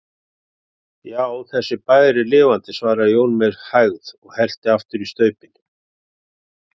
Já, þessi bær er lifandi, svaraði Jón með hægð og hellti aftur í staupin.